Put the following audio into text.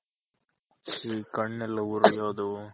ಈ ಕಣ್ಣೆಲ್ಲ ಉರ್ಯೋದು.